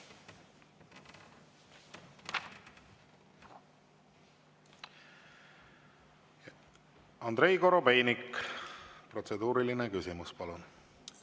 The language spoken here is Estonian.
Andrei Korobeinik, protseduuriline küsimus, palun!